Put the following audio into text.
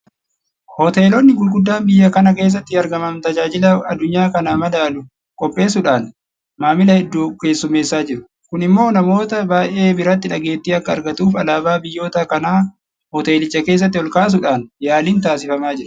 Hoteelonni guguddaan biyya kana keessatti argaman tajaajila addunyaa kana madaalu qopheessuudhaan maamila hedduu keessummeessaa jiru. Kun immoo namoota baay'ee biratti dhageettii akka argatuuf alaabaa biyyoota kanaa hoteelicha keessatti olkaasuudhaan yaaliin taasifamaa jira.